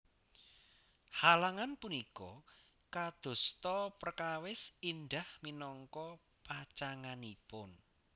Halangan punika kadosta prekawis Indah minangka pacanganipun